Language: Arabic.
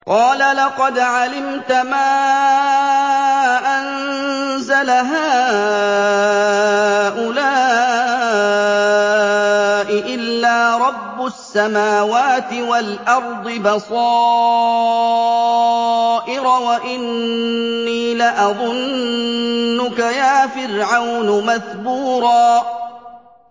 قَالَ لَقَدْ عَلِمْتَ مَا أَنزَلَ هَٰؤُلَاءِ إِلَّا رَبُّ السَّمَاوَاتِ وَالْأَرْضِ بَصَائِرَ وَإِنِّي لَأَظُنُّكَ يَا فِرْعَوْنُ مَثْبُورًا